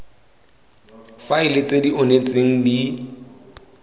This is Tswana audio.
faele tse di onetseng di